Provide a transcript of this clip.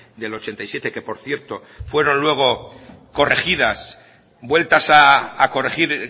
del ochenta y siete que por cierto fueron luego corregidas vueltas a corregir